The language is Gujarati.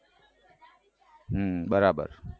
હમ બરાબર